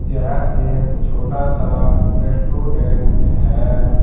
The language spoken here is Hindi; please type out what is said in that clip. यह एक छोटा सा रेस्टोरेंट है।